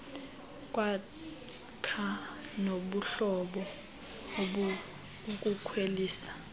kwakha nobuhlobo ukukhwelisa